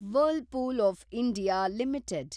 whirlpool of India limited